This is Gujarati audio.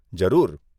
જરૂર.